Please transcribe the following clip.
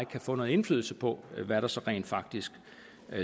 kan få noget indflydelse på hvad der så rent faktisk